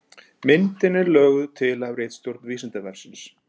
Myndin er löguð til af ritstjórn Vísindavefsins.